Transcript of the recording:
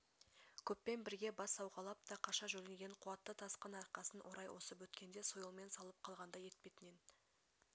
көппен бірге бас сауғалап та қаша жөнелген қуатты тасқын арқасын орай осып өткенде сойылмен салып қалғандай етпетнен